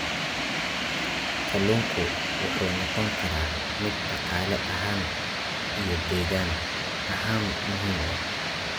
Kalluunku wuxuu noqon karaa mid dhaqaale ahaan iyo deegaan ahaanba muhiim ah.